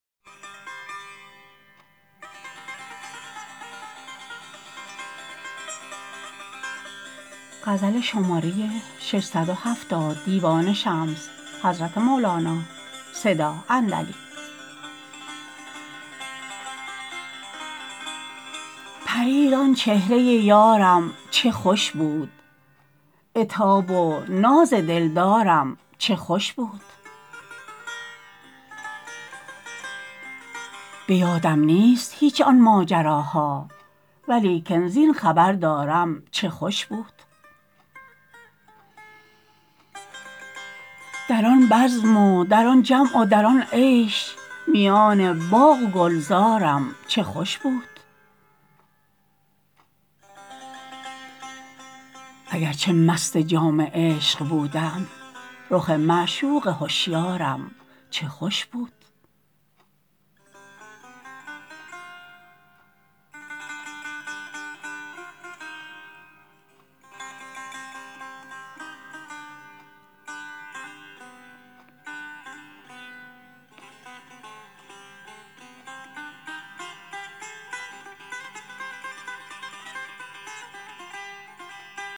پریر آن چهره یارم چه خوش بود عتاب و ناز دلدارم چه خوش بود به یادم نیست هیچ آن ماجراها ولیکن زین خبر دارم چه خوش بود در آن بزم و در آن جمع و در آن عیش میان باغ و گلزارم چه خوش بود اگر چه مست جام عشق بودم رخ معشوق هشیارم چه خوش بود